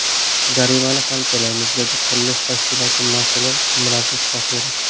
Jarimani ham to‘laymiz”, dedi qurilish tashkiloti mas’uli Miraziz Tohirov.